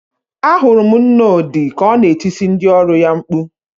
Ahụrụ m nna Odị ka ọ na-etisi ndị ọrụ ya mkpu.